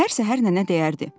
Hər səhər nənə deyərdi.